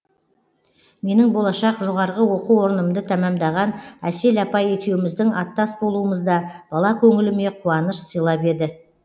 менің болашақ жоғарғы оқу орнымды тәмәмдаған әсел апай екеуміздің аттас болуымыз да бала көңіліме қуаныш сыйлап еді